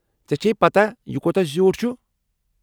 ژےٚ چھیہِ پتاہ یہِ کوتاہ زِیوٗٹھ چُھ؟